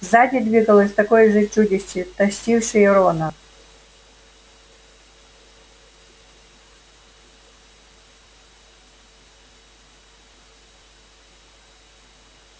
сзади двигалось такое же чудище тащившее рона